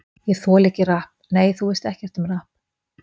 Ég þoli ekki rapp Nei, þú veist ekkert um rapp.